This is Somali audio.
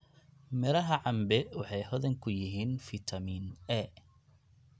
Miraha cambe waxay hodan ku yihiin fitamiin A.